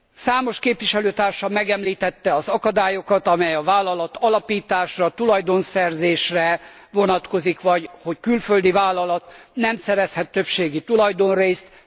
Számos képviselőtársam megemlítette az akadályokat, amely a vállalatalapításra, tulajdonszerzésre vonatkozik, vagy hogy külföldi vállalat nem szerezhet többségi tulajdonrészt.